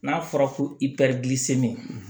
N'a fɔra ko i bɛ